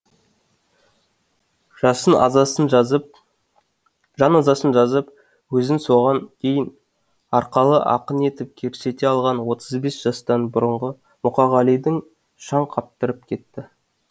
жан азасын жазып өзін соған дейін арқалы ақын етіп көрсете алған отыз бес жастан бұрынғы мұқағалиды шаң қаптырып кетті